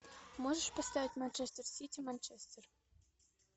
можешь поставить манчестер сити манчестер